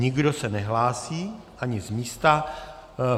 Nikdo se nehlásí, ani z místa.